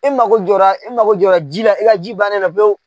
I mako jɔra i mako jɔra ji la i ka ji bannen do pewu.